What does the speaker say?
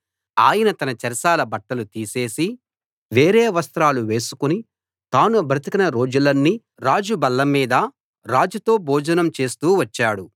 అతడు తన చెరసాల బట్టలు తీసేసి వేరే వస్త్రాలు వేసుకుని తాను బ్రతికిన రోజులన్నీ రాజు బల్ల మీద రాజుతో భోజనం చేస్తూ వచ్చాడు